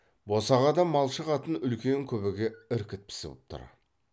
босағада малшы қатын үлкен күбіге іркіт пісіп тұр